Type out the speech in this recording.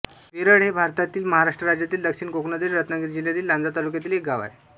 वेरळ हे भारतातील महाराष्ट्र राज्यातील दक्षिण कोकणातील रत्नागिरी जिल्ह्यातील लांजा तालुक्यातील एक गाव आहे